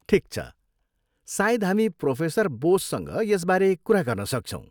ठिक छ, सायद हामी प्रोफेसर बोससँग यसबारे कुरा गर्न सक्छौँ।